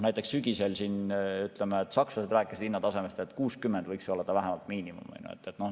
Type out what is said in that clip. Näiteks sügisel sakslased rääkisid, et hinnatase 60 võiks olla vähemalt miinimum.